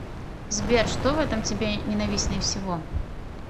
сбер что в этом тебе ненавистнее всего